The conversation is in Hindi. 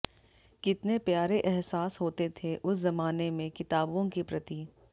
कितने प्यारे अहसास होते थे उस जमाने में किताबों के प्रति